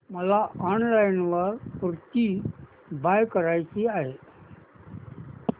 मला online kurti buy करायची आहे